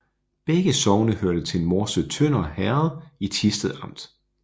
Begge sogne hørte til Morsø Sønder Herred i Thisted Amt